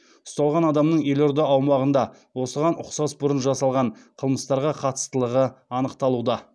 ұсталған адамның елорда аумағында осыған ұқсас бұрын жасалған қылмыстарға қатыстылығы анықталуда